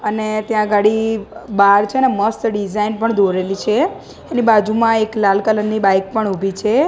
અને ત્યાં ગાડી બાર છે ને મસ્ત ડિઝાઇન પણ દોરેલી છે એની બાજુમાં એક લાલ કલર ની બાઇક પણ ઉભી છે.